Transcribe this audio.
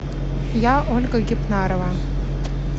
я ольга гепнарова